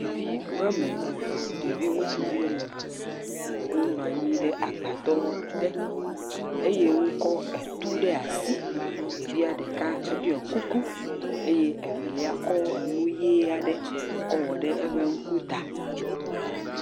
ɖevi woame ve ɖevi ŋutsuvi woameve wó nɔnyi ɖe agbadɔ te eye wókɔ etu ɖe asi ɖeka eɖiɔ kuku eye evelia ekɔ nuɣi aɖe kɔ wɔ ɖe eƒe ŋku tá